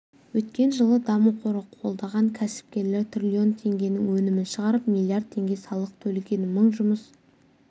өткен жылы даму қоры қолдаған кәсіпкерлер триллион теңгенің өнімін шығарып миллиард теңге салық төлеген мың жұмыс